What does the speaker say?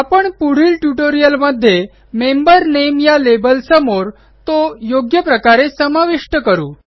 आपण पुढील ट्युटोरियलमध्ये मेंबर नेम या लेबलसमोर तो योग्य प्रकारे समाविष्ट करू